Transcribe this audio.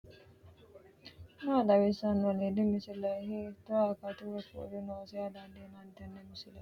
maa xawissanno aliidi misile ? hiitto akati woy kuuli noose yaa dandiinanni tenne misilera? qooxeessisera noori maati ? mannu mayi heerenna mare ofolle noowaatikka